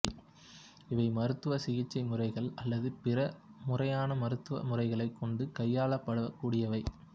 இவை மருத்துவ சிகிச்சை முறைகள் அல்லது பிற முறையான மருத்துவ முறைகளைக் கொண்டு கையாளப்படக் கூடியவை